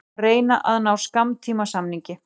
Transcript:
Reyna að ná skammtímasamningi